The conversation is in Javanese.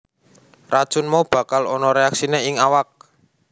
Racun mau bakal ana reaksiné ing awak